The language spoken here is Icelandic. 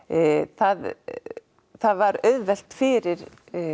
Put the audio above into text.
það það var auðvelt fyrir